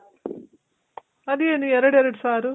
ಅದೇನು ಎರಡೆರಡ್ ಸಾರು?